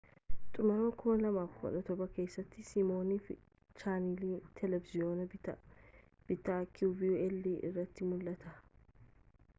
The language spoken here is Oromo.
xumura 2017 keessatti siminoof chaanalii televiziyoonaa bittaa qvl irratti mul'ate